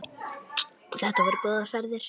Þetta voru góðar ferðir.